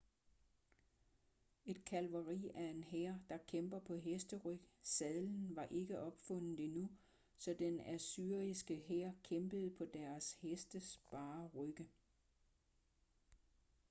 et kavaleri er en hær der kæmper på hesteryg sadlen var ikke opfundet endnu så den assyriske hær kæmpede på deres hestes bare rygge